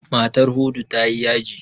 Matar Hudu ta yi yaji.